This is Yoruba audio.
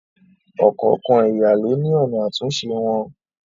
Ọ̀kọ̀ọ̀kan ẹ̀yà ló ní ọ̀nà àtúnṣe wọn.